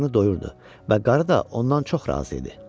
Qarnını doyurdu və qarı da ondan çox razı idi.